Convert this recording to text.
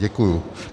Děkuji.